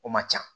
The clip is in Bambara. O man ca